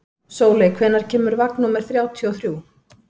Sóley, hvenær kemur vagn númer þrjátíu og þrjú?